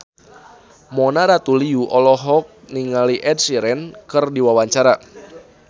Mona Ratuliu olohok ningali Ed Sheeran keur diwawancara